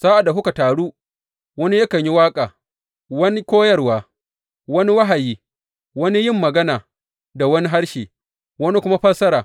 Sa’ad da kuka taru, wani yakan yi waƙa, wani koyarwa, wani wahayi, wani yin magana da wani harshe, wani kuma fassara.